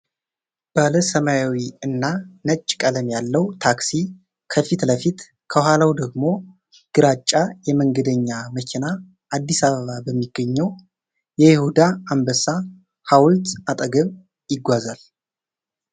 ባለ ሰማያዊ እና ነጭ ቀለም ያለው ታክሲ ከፊት ለፊት፣ ከኋላው ደግሞ ግራጫ የመንገደኛ መኪና አዲስ አበባ በሚገኘው የይሁዳ አንበሳ ሐውልት አጠገብ ይጓዛሉ።